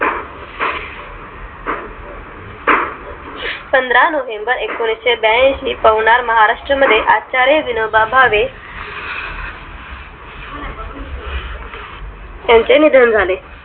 पंधरा november एंकोणिसहेबयांशी पवनार महाराष्ट्रामध्ये आचार्य विनोबा भावे यांचे निधन झाले